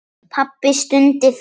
Pabbi stundi þungan.